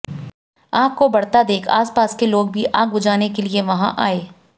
आग को बढ़ता देख आसपास के लोग भी आग बुझाने के लिए वहां आए